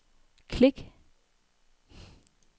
klik